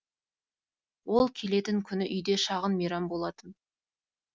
ол келетін күні үйде шағын мейрам болатын